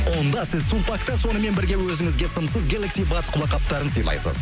онда сіз сулпакта сонымен бірге өзіңізге сымсыз гелакси батс құлаққаптарын сыйлайсыз